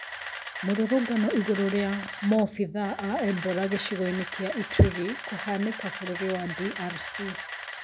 Mũrũrũngano igũrũ rĩa mobithaa aa Ebola gĩcigo-inĩ kĩa Ituri kũhanĩka bũrũri wa DRC